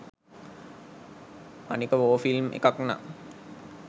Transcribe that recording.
අනික war film එකක්නම්